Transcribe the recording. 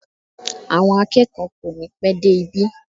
Àwọn akẹ́kọ̀ọ́ kò ní pẹ́ dé ibi